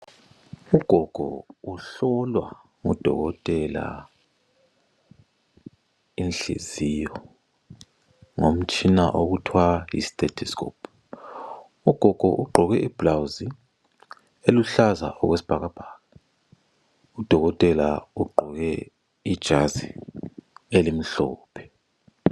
Ugogo uhlolwa ngodokotela inhliziyo ngomtshina okuthiwa yi state scoop ugogo ugqoke ibhulawuzi eluhlaza okwesibhakabhaka udokotela ugqoke ijazi elimhlophe.